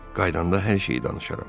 Qaydanda hər şeyi danışaram.